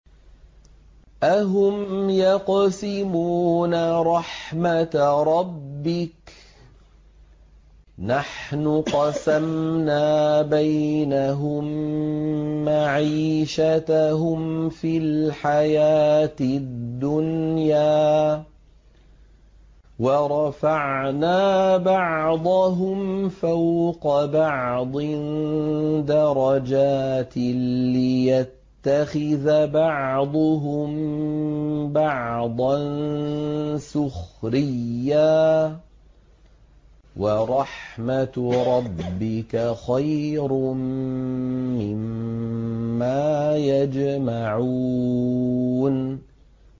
أَهُمْ يَقْسِمُونَ رَحْمَتَ رَبِّكَ ۚ نَحْنُ قَسَمْنَا بَيْنَهُم مَّعِيشَتَهُمْ فِي الْحَيَاةِ الدُّنْيَا ۚ وَرَفَعْنَا بَعْضَهُمْ فَوْقَ بَعْضٍ دَرَجَاتٍ لِّيَتَّخِذَ بَعْضُهُم بَعْضًا سُخْرِيًّا ۗ وَرَحْمَتُ رَبِّكَ خَيْرٌ مِّمَّا يَجْمَعُونَ